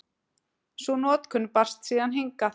Sú notkun barst síðan hingað.